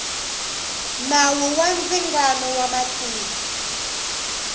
nawu wa ndzingano wa mintirho